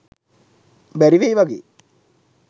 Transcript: බැරිවෙයි වගේ.